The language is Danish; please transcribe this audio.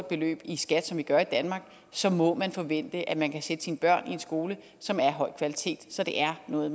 beløb i skat som vi gør i danmark så må man forvente at man kan sætte sine børn i en skole som er af høj kvalitet så det er noget